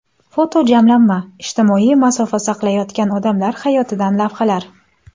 Fotojamlanma: Ijtimoiy masofa saqlayotgan odamlar hayotidan lavhalar.